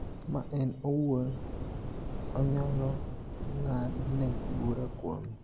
ma en owuon onyalo ng�adne bura kuome.